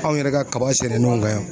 Anw yɛrɛ ka kaba sɛnɛnenw kan yan